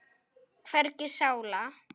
Hvergi sála.